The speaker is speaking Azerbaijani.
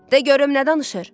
De görüm nə danışır?